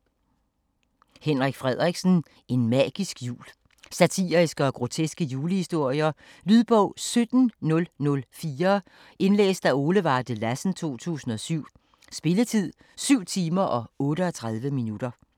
Frederiksen, Henrik: En magisk jul Satiriske og groteske julehistorier. Lydbog 17004 Indlæst af Ole Varde Lassen, 2007. Spilletid: 7 timer, 38 minutter.